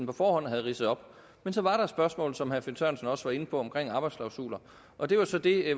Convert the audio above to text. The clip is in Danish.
på forhånd havde ridset op men så var der et spørgsmål som herre finn sørensen også var inde på omkring arbejdsklausuler og det var så det